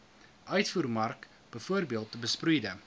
uitvoermark bv besproeide